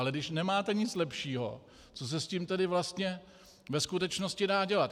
Ale když nemáte nic lepšího, co se s tím tedy vlastně ve skutečnosti dá dělat?